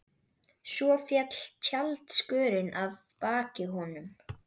Svo féll tjaldskörin að baki honum.